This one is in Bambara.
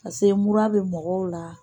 Paseke mura bɛ mɔgɔw la